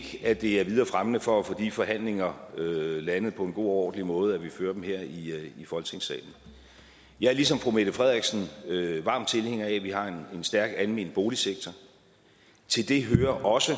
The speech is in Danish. at det er videre fremmende for at få de forhandlinger landet på en god og ordentlig måde at vi fører dem her i folketingssalen jeg er ligesom fru mette frederiksen varm tilhænger af at vi har en stærk almen boligsektor til det hører også